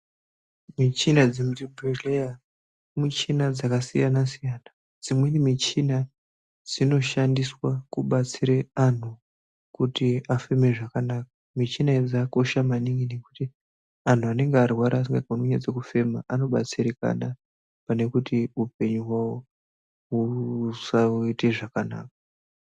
Michina dzemuzvibhedhleya muchina dzkasiyanasiyana dzimweni michina dzinoshandiswa kubatsire anthu kuti afeme zvakanaka michina idzi dzakakosha maningi nekuti anthu anenge arwara asingakoni kunyatsokufema anobatsirikana pane kuti upenyu hwawo husaite zvakanaka.